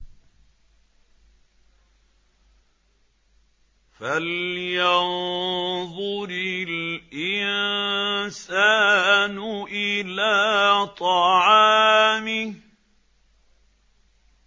فَلْيَنظُرِ الْإِنسَانُ إِلَىٰ طَعَامِهِ